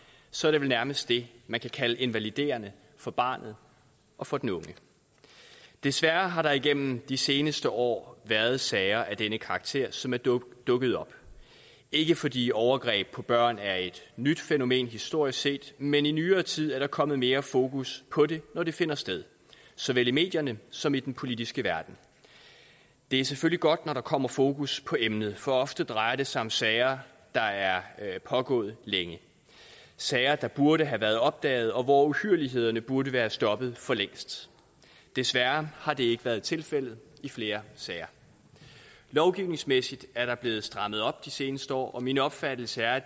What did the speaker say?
så er det vel nærmest det man kan kalde invaliderende for barnet og for den unge desværre har der igennem de seneste år været sager af denne karakter som er dukket dukket op ikke fordi overgreb på børn er et nyt fænomen historisk set men i nyere tid er kommet mere fokus på det når det finder sted såvel i medierne som i den politiske verden det er selvfølgelig godt når der kommer fokus på emnet for ofte drejer det sig om sager der er pågået længe sager der burde have været opdaget og hvor uhyrlighederne burde være stoppet for længst desværre har det ikke være tilfældet i flere sager lovgivningsmæssigt er der blevet strammet op de seneste år og min opfattelse er at